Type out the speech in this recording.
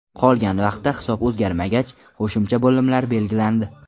Qolgan vaqtda hisob o‘zgarmagach, qo‘shimcha bo‘limlar belgilandi.